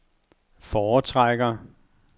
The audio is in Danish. foretrækker